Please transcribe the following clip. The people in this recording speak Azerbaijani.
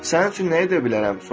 Sənin üçün nə edə bilərəm?